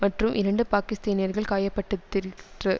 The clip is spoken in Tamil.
மற்றும் இரண்டு பாகிஸ்தீனியர்கள் காயப்பட்டித்திரிற்று